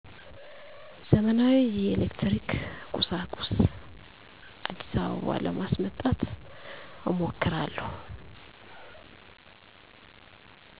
ዘመናዊ የኤሌክትሪክ ቁሣቁሥ። አዲስአበባ ለማስመጣት እሞክራለሁ።